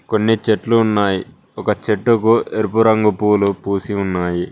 కొన్ని చెట్లు ఉన్నాయి ఒక చెట్టుకు ఎరుపు రంగు పూలు పూసి ఉన్నాయి.